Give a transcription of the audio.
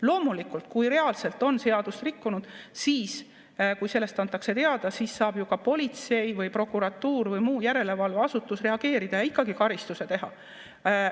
Loomulikult, kui reaalselt on seadust rikutud, siis kui sellest antakse teada, siis saab ju ka politsei või prokuratuur või muu järelevalveasutus reageerida ja ikkagi karistuse määrata.